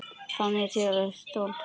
Þangað til klukkan slær tólf.